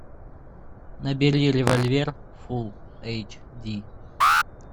набери револьвер фул эйч ди